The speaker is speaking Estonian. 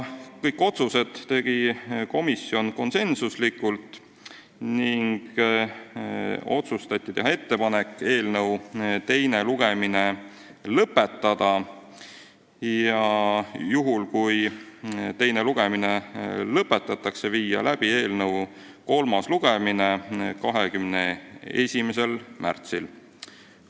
Kõik otsused tegi komisjon konsensusega: otsustati teha ettepanek eelnõu teine lugemine lõpetada ja juhul, kui teine lugemine lõpetatakse, viia eelnõu kolmas lugemine läbi 21. märtsil.